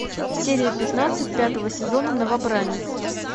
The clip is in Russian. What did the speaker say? серия пятнадцать пятого сезона новобранец